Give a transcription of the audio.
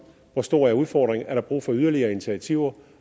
hvor stor udfordringen er er brug for yderligere initiativer